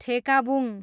ठेकाबुङ